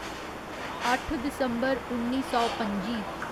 अट्ठ दिसम्बर उन्नी सौ पं'जी